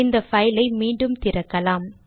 இந்த பைலை மீண்டும் திறக்கலாம்